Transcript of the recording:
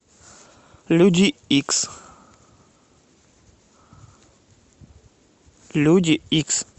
люди икс люди икс